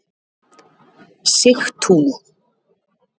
Sigtúni